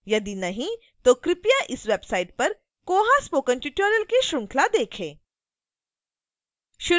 यदि नहीं तो कृपया इस website पर koha spoken tutorial की श्रृंखला देखें